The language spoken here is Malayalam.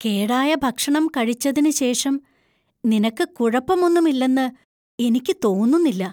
കേടായ ഭക്ഷണം കഴിച്ചതിന് ശേഷം നിനക്ക് കുഴപ്പമൊന്നുമില്ലെന്ന് എനിക്ക് തോന്നുന്നില്ല.